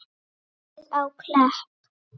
Komið á Klepp?